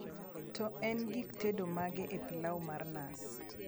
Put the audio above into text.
to en gik tedo mage epilau mar nas